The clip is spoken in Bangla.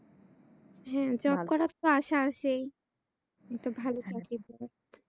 হ্যাঁ job করারতো আশা আছেই একটা ভালো চাকরির জন্য